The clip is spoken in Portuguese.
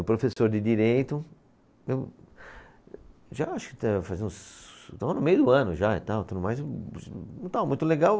O professor de Direito, eu já acho que fazer uns, estava no meio do ano já e tal, tudo mais e não estava muito legal.